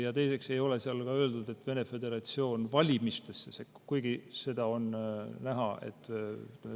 Ja teiseks ei ole seal ka öeldud, et Vene föderatsioon valimistesse sekkub, kuigi seda on näha.